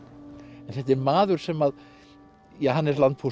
en þetta er maður sem að ja hann er